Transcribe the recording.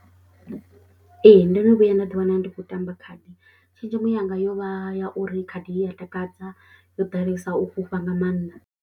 Ee, ndo no vhuya nda ḓiwana ndi khou tamba khaḓi, tshenzhemo yanga yo vha ya uri khadi I ya takadza, yo ḓalesa u fhufha nga maanḓa.